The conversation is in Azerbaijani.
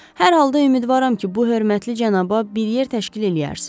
Hər halda ümidvaram ki, bu hörmətli cənaba bir yer təşkil eləyərsiz.